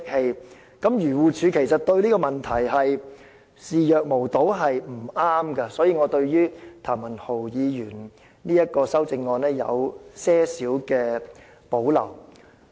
漁農自然護理署對這個問題視若無睹是不妥當的，所以我對譚文豪議員的修正案有輕微保留。